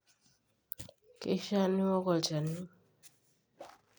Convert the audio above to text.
keishaa niok olchani